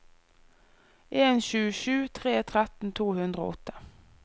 en sju sju tre tretten to hundre og åtte